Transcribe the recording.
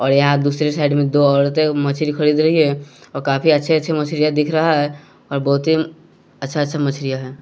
और यहां दूसरी साइड में दो औरते मछली खरीद रही हैं और काफी अच्छे अच्छे मछलियां दिख रहा है और बोहोत ही अच्छा अच्छा मछलियां हैं।